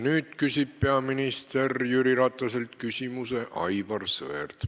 Nüüd küsib peaminister Jüri Rataselt küsimuse Aivar Sõerd.